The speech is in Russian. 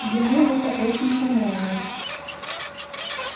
ему это очень понравилось